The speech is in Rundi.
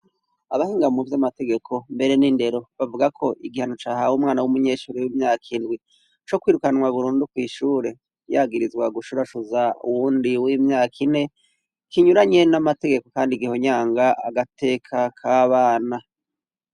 Abahinga mu vy'amategeko mbere n'indero bavuga ko igihano cahawe umwana w'umunyeshuri w'imyaka indwi co kwirukanwa burundu kw'ishure yagirizwa gushurashuza uwundi w'imyaka ine kinyuranye n'amategeko kandi gihonyanga agateka k'abana.